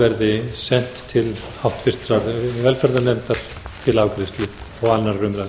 verði sent til háttvirtrar velferðarnefndar til afgreiðslu og annarrar umræðu